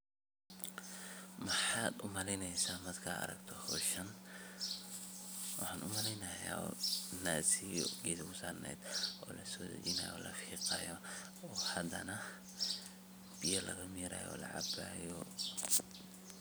Maxa u maleyneysah markat aragtoh hooshan, waxa u malaynaya nassiya Geetha oo la sodajinaya o hadana biyaaga miraya oo la cabayo.